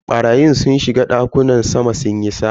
Barayin sun shiga dakunan sama sunyi sata.